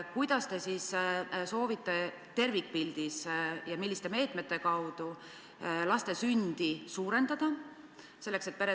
" Minu küsimus on, kuidas, milliste meetmetega te siis soovite sündimust suurendada ja saavutada, et ...